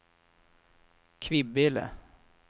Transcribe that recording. Kvibille